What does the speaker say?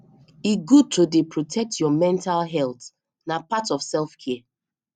e good to dey protect your mental healt na part of self care